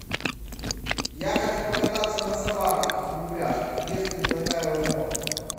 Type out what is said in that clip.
я хочу покататься на собаках в упряжках есть ли такая возможность